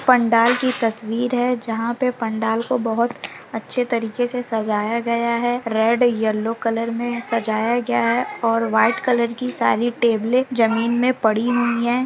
पंडाल की तस्वीर है जहां पे पंडाल को बहोत अच्छे तरीके से सजाया गया है रेड येल्लो कलर मे सजाया गया है और व्हाइट कलर की सारी टेबले जमीन मे पड़ी हुई हैं।